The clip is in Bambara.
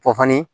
Pɔfɔnni